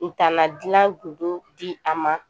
Ntana dilan di a ma